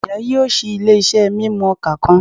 Iya yoo ṣii ile-iṣẹ mimu oka kan